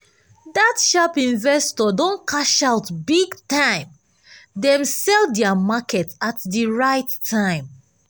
dat sharp investor don cash out big time! dem sell dia market at di right time.